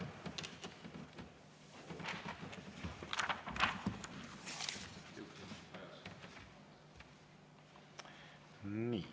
Aitäh!